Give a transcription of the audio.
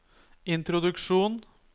introduksjon